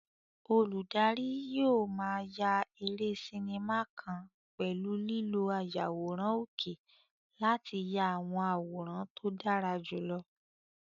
Olùdarí yóò máa ya eré sinimá kan nípa lílo ayàwòrán òkè láti ya àwọn àwòrán tó dára jùlọ.